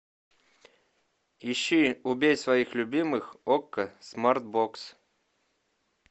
ищи убей своих любимых окко смарт бокс